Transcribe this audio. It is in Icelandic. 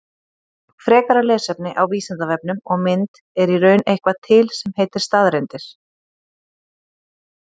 Frekara lesefni á Vísindavefnum og mynd Er í raun eitthvað til sem heitir staðreyndir?